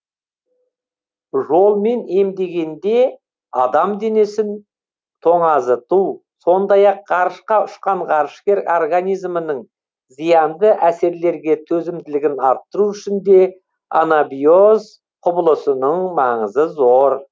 жолмен емдегенде адам денесін тоңазыту сондай ақ ғарышқа ұшқан ғарышкер организмінің зиянды әсерлерге төзімділігін арттыру үшін де анабиоз құбылысының маңызы зор